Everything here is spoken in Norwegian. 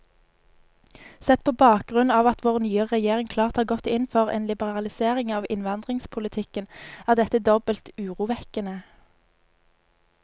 Sett på bakgrunn av at vår nye regjering klart har gått inn for en liberalisering av innvandringspolitikken, er dette dobbelt urovekkende.